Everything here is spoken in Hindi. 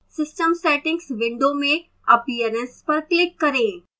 system settings window में appearance पर click करें